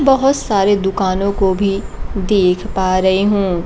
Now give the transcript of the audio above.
बहुत सारे दुकानों को भी देख पा रही हूं।